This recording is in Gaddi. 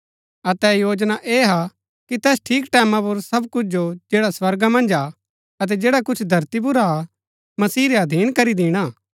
अतै योजना ऐह हा कि तैस ठीक टैमां पुर सब कुछ जो जैड़ा स्वर्गा मन्ज हा अतै जैडा कुछ धरती पुर हा मसीह रै अधीन करी दिणा